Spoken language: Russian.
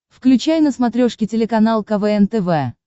включай на смотрешке телеканал квн тв